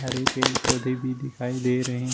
हरे पेड़ पौधे भी दिखाई दे रहें --